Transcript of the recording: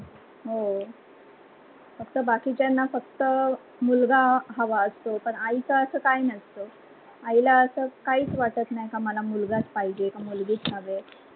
हो फक्‍त बकिच्‍याना फक्‍त मुलगा हवा असतो, पण आईच अस कही नाही, आई ला अस काहिच वाटत नाही की मला मुलगाच् पाहीजे की मुलगीच्.